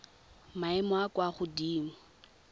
maemong a a kwa godimo